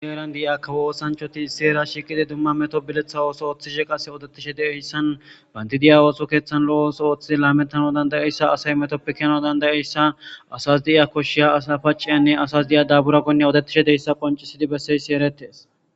heran diiza kawo oosanchoti hera shiiqidi duma meto biletha ooso oththishe qase odetishe dizayssan bandidiya ooso keththan lo7o ooso ooththi laamettano dandayeyssa asay metoppe keno dandayeyssa asas diza koshshiya sapaciyanne asas diya daabura goynne odetishe deyssa qoncisidi besseysi eretees